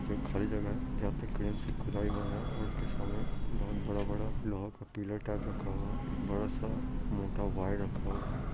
इसमें खली जगह है जहा पर क्रेन से खुदाई हो रहा है और उसके सामने बहुत बड़ा-बड़ा लोहा का पिलर टाइप रखा हुआ है एक बड़ा सा मोटा वायर रखा हुआ है।